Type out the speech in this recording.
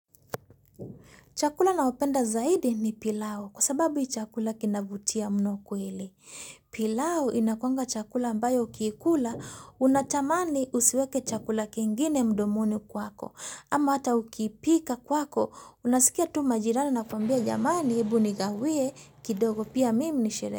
Chakula nachopenda zaidi ni pilau kwa sababu ni chakula kinavutia mno kweli. Pilau inakuanga chakula ambayo ukiikula unatamani usiweke chakula kingine mdomoni kwako. Ama hata ukiipika kwako unasikia tu majirani wanakwambia jamani hebu nigawie kidogo pia mimi nisherehekee.